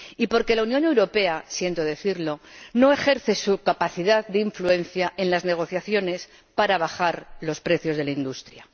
y porque la Unión Europea —siento decirlo— no ejerce su capacidad de influencia en las negociaciones para bajar los precios de la industria.